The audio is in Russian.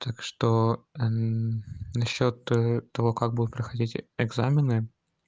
так что насчёт того как будет проходить экзамены